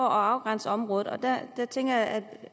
afgrænse området og der tænker jeg at